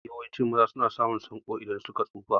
Mafi yawancin maza na samun sanƙo idan suka tsufa.